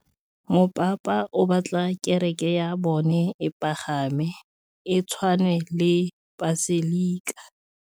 Mopapa o batla kereke ya bone e pagame, e tshwane le paselika.